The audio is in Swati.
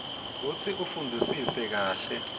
kutsi ufundzisise kahle